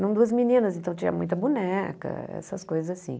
Eram duas meninas, então tinha muita boneca, essas coisas assim.